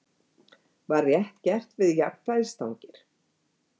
Var rétt gert við jafnvægisstangir?